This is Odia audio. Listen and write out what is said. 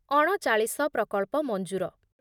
ଅଣଚାଳିଶ ପ୍ରକଳ୍ପ ମଂଜୁର